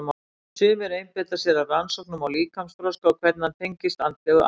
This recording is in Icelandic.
Sumir einbeita sér að rannsóknum á líkamsþroska og hvernig hann tengist andlegu atgervi.